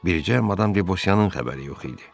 Bircə madam Debosiyanın xəbəri yox idi.